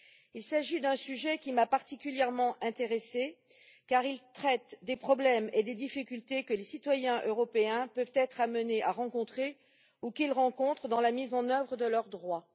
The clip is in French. Il s'agit d'un sujet qui m'a particulièrement intéressée, car il traite des problèmes et des difficultés que les citoyens européens peuvent être amenés à rencontrer ou qu'ils rencontrent dans la mise en œuvre de leurs droits.